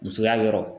Musoya yɔrɔ